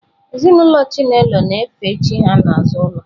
Ezinụlọ Chinelo na-efe chi ha n'azụ ụlọ.